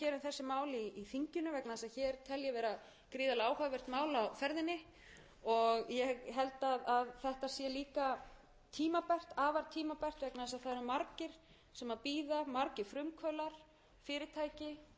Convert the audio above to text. mál í þinginu vegna þess að hér tel ég vera gríðarlega áhugavert mál á ferðinni ég held að þetta sé líka tímabært afar tímabært vegna þess að það eru margir sem bíða margir frumkvöðlar fyrirtæki